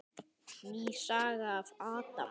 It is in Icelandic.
Ný saga af Adam.